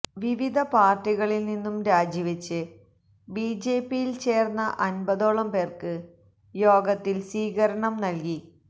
വിവിധ പാര്ട്ടികളില് നി ന്നും രാജിവെച്ച് ബിജെപിയില് ചേര്ന്ന അന്പതോളം പേര്ക്ക് യോഗത്തില് സ്വീകരണം നല്കി